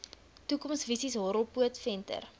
toekomsvisies horrelpoot venter